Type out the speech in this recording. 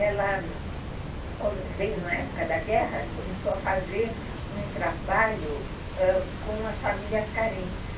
Ela como, veio na época da guerra e começou a fazer um trabalho com as famílias carentes.